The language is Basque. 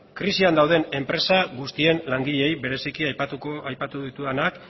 krisian dauden enpresa guztien langileei bereziki aipatu ditudanak